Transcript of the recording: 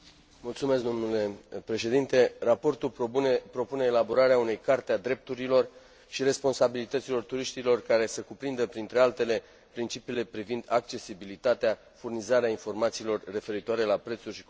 Raportul propune elaborarea unei carte a drepturilor și responsabilităților turiștilor care să cuprindă, printre altele, principiile privind accesibilitatea, privind furnizarea informațiilor referitoare la prețuri și compensații în mod transparent.